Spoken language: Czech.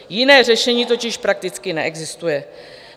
Jiné řešení totiž prakticky neexistuje.